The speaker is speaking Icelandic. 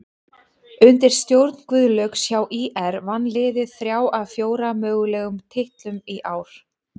Undir stjórn Guðlaugs hjá ÍR vann liðið þrjá af fjóra mögulegum titlum í ár.